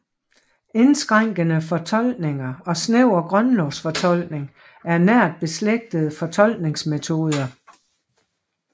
Indskrænkende fortolkning og snæver grundlovsfortolkning er nært beslægtede fortolkningsmetoder